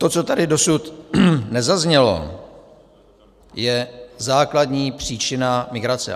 To, co tady dosud nezaznělo, je základní příčina migrace.